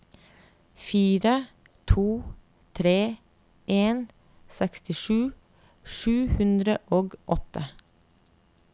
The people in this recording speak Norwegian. fire to tre en sekstisju sju hundre og åtte